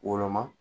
Woloma